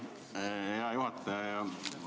Hea juhataja!